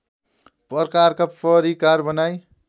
प्रकारका परिकार बनाई